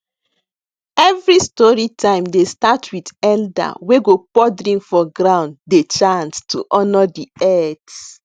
every story time dey start with elder wey go pour drink for ground dey chant to honour de earth